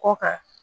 Kɔ kan